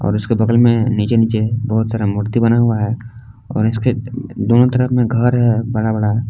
और इसके बगल में नीचे नीचे बहुत सारा मूर्ति बना हुआ है और इसके दोनों तरफ में घर है बड़ा बड़ा।